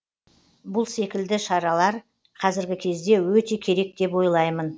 бұл секілді шараралар қазіргі кезде өте керек деп ойлаймын